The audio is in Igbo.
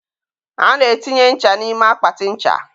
a na-etinye nche n'ime akpatị ncha.